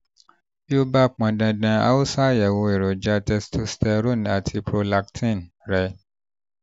tí ó tí ó bá pọn dandan a ó ṣàyẹ̀wò èròjà testosterone àti prolactin rẹ